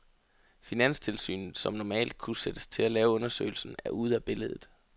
Finanstilsynet, som normalt kunne sættes til at lave undersøgelsen, er ude af billedet.